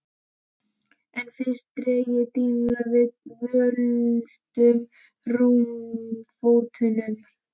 En fyrst dreg ég dýnuna niður af völtum rúmfótunum.